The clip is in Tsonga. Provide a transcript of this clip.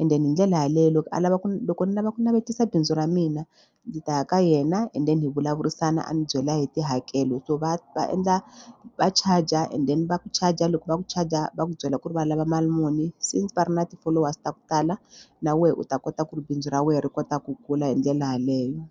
and then hi ndlela yaleyo loko a lava ku loko ni lava ku navetisa bindzu ra mina ndzi ta ya ka yena and then hi vulavurisana a ni byela hi tihakelo so va va endla va charger and then va ku charger loko va ku charger va ku byela ku ri va lava mali muni since va ri na ti-followers ta ku tala na wena u ta kota ku ri bindzu ra wena ri kota ku kula hi ndlela yeleyo.